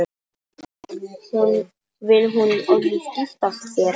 Vill hún orðið giftast þér?